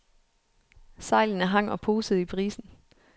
Sejlene hang og posede i brisen.